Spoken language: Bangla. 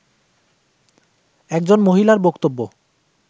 একজন মহিলার বক্তব্য